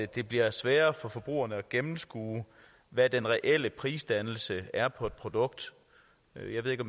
det bliver sværere for forbrugerne at gennemskue hvad den reelle prisdannelse er for et produkt jeg ved ikke